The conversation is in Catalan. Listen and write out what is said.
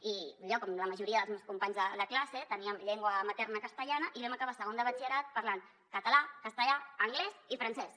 i jo com la majoria dels meus companys de classe teníem llengua materna castellana i vam acabar segon de batxillerat parlant català castellà anglès i francès